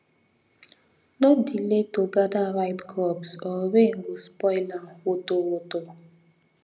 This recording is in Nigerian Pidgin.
no delay to gather ripe crops or rain go spoil am woto woto